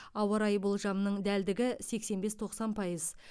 ауа райы болжамының дәлдігі сексен бес тоқсан пайыз